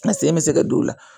N sen bɛ se ka don o la